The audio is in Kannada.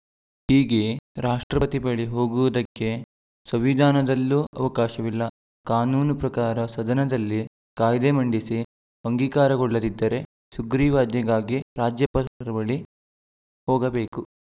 ಹೀಗೆ ರಾಷ್ಟ್ರಪತಿ ಬಳಿ ಹೋಗುವುದಕ್ಕೆ ಸಂವಿಧಾನದಲ್ಲೂ ಅವಕಾಶವಿಲ್ಲ ಕಾನೂನು ಪ್ರಕಾರ ಸದನದಲ್ಲಿ ಕಾಯ್ದೆ ಮಂಡಿಸಿ ಅಂಗೀಕಾರಗೊಳ್ಳದಿದ್ದರೆ ಸುಗ್ರೀವಾಜ್ಞೆಗಾಗಿ ರಾಜ್ಯಪಾಲರ ಬಳಿ ಹೋಗಬೇಕು